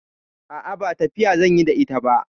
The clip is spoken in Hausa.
A'a, ba tafiya zan yi da ita ba.